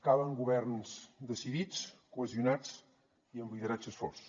calen governs decidits cohesionats i amb lideratges forts